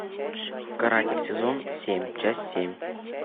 каратель сезон семь часть семь